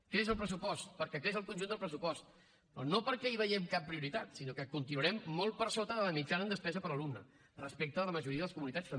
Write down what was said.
creix el pressupost perquè creix el conjunt del pressupost però no perquè hi veiem cap prioritat sinó que continuarem molt per sota de la mitjana en despesa per alumne respecte a la majoria de les comunitats també